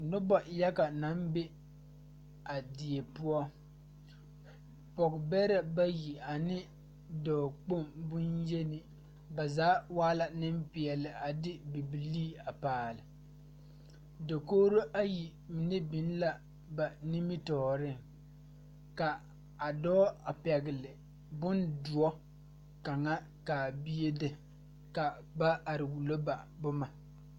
Nobɔ yaga naŋ be a die poɔ pɔge bɛrɛ bayi ane dɔɔ kpoŋ bonyeni ba zaa waa la neŋpeɛɛle a de bibilii a paale dokogro ayi mine biŋ la ba nimitooreŋ ka a dɔɔ a pɛgle bondoɔ kaŋa ka a bie de ka ba are wullo ba boma.